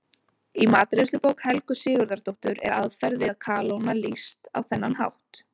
Í matreiðslubók Helgu Sigurðardóttur er aðferð við að kalóna lýst á þennan hátt: